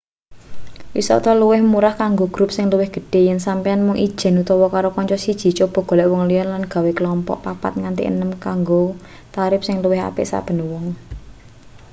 wisata luwih murah kanggo grup sing luwih gedhe yen sampeyan mung ijen utawa karo kanca siji coba golek wong liya lan gawe klompok papat nganti enem wong kanggo tarip sing luwih apik saben wong